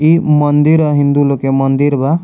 ई मंदिर है हिन्दू लोग के मंदिर बा।